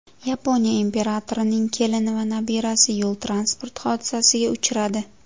Yaponiya imperatorining kelini va nabirasi yo‘l-transport hodisasiga uchradi.